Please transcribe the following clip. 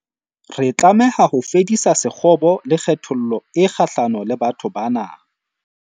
Re tlameha ho fedisa sekgobo le kgethollo e kgahlano le batho bana.